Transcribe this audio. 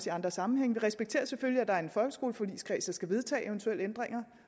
i andre sammenhænge vi respekterer selvfølgelig at der er en folkeskoleforligskreds der skal vedtage eventuelle ændringer